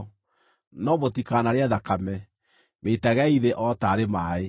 No mũtikanarĩe thakame; mĩitagei thĩ o taarĩ maaĩ.